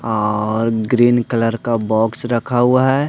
और green colour का box रखा हुआ है।